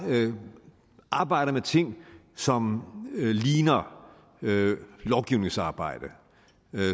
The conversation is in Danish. arbejder med ting som ligner lovgivningsarbejde